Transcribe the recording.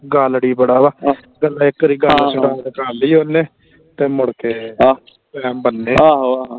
ਗਾਲੜੀ ਬੜਾ ਵਾ ਪਹਿਲਾਂ ਇਕ ਵਾਰੀ ਗੱਲ ਕਰ ਲਈ ਓਹਨੇ ਫੇਰ ਮੁੜਕੇ ਬੰਨੇ